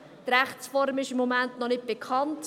Die Rechtsform ist im Moment noch nicht bekannt.